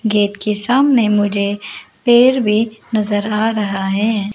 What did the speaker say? Gate के सामने मुझे पेड़ भी नजर आ रहा है।